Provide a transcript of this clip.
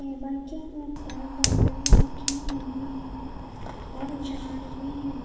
Table के ऊपर bottle रखी हुई है और झाड़ भी है।